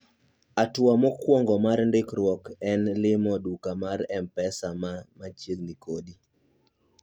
atua mukuongo mar ndikruok en limo duka mar mpesa man machiegni